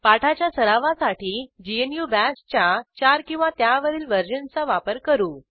पाठाच्या सरावासाठी ग्नू Bashच्या 4 किंवा त्यावरील वर्जनचा वापर करू